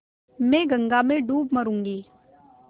मैं गंगा में डूब मरुँगी